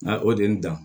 A o de ye n dan